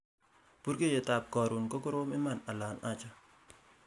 burgeiyet ab korun ko korom iman ala aja